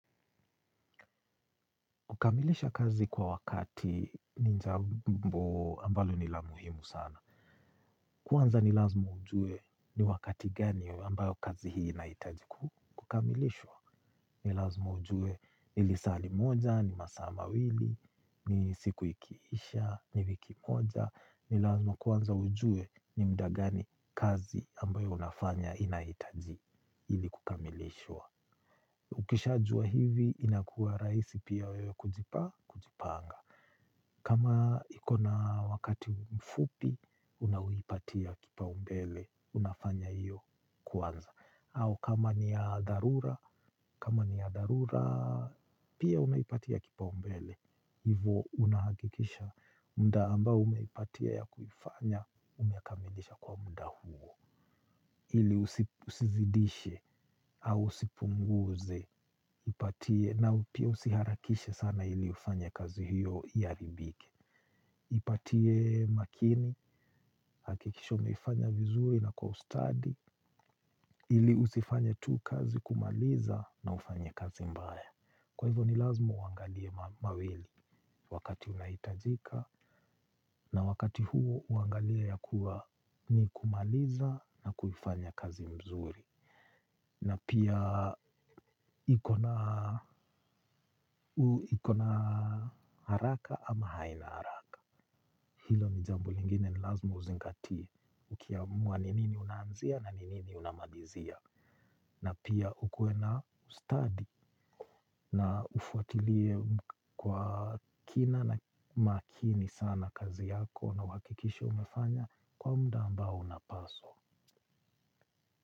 Ukamilisha kazi kwa wakati ni jambo ambalo nila muhimu sana. Kwanza nilazma ujue ni wakati gani ambayo kazi hii inahitaji kukamilishwa. Nilazma ujue nilisaa limoja, ni masaa ma wili, ni siku ikiisha, ni wiki moja. Nilazma kwanza ujue ni mda gani kazi ambayo unafanya inaitaji ili kukamilishwa. Ukishajua hivi inakua rahisi pia wewe kujipa, kujipanga. Kama ikona wakati mfupi, unawipatia kipaumbele, unafanya hiyo kwanza. Au kama ni yadharura, kama ni ya dharura, pia unaipatia kipa umbele. Hivo unahakikisha mda ambao umeipatia ya kuifanya, umekamilisha kwa mda huo. Ili usizidishe, hau usipunguze, ipatie, na upia usiharakishe sana hili ufanye kazi hiyo ya iharibike. Ipatie makini, hakikisha umeifanya vizuri na kwa ustadi. Ili usifanye tu kazi kumaliza na ufanye kazi mbaya. Kwa hivyo ni lazima uangalie mawili wakati unahitajika. Na wakati huo uangalie ya kuwa ni kumaliza na kuifanya kazi mzuri. Na pia ikona haraka ama haina haraka. Hilo ni jambo lingine ni lazima uzingatie. Ukiamua ni nini unaanzia na ni nini unamalizia. Na pia ukuwe na ustadi na ufwatilie kwa kina na makini sana kazi yako. Na uhakikishe umefanya kwa mda ambao unapaswa.